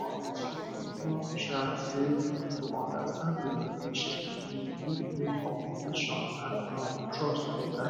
honestly you know um sey to understand wetin patient believe fit make communication and um trust better